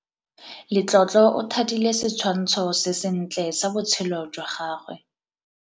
Letlotlo o thadile setshwantshô se sentle sa botshelo jwa gagwe.